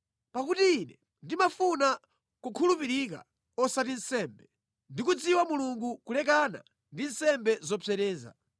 Pakuti Ine ndimafuna chifundo osati nsembe, ndi kudziwa Mulungu kulekana ndi nsembe zopsereza.